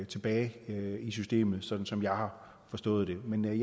tilbage i systemet sådan som jeg har forstået det men jeg